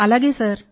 అవును సార్